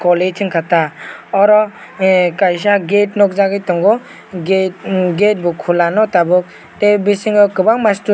o late wngka ta oro ehh kaisa gate nogjagoi tango gate em gate kulano tabok tei bisingo kobangma mastor.